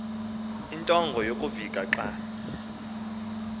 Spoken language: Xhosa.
intonga yokuvika xa